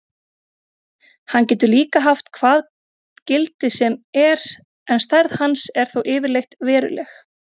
Hann getur líka haft hvað gildi sem er en stærð hans er þó yfirleitt veruleg.